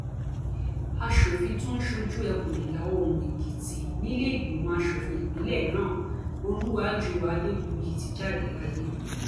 aṣòfin tó ń ṣojú ẹkùn ìlàoòrùn èkìtì nílé ìgbìmọ asòfin ìpínlẹ náà olùwájúwà adégbùyí ti jáde láyé